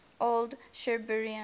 old shirburnians